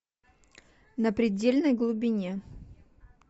на предельной глубине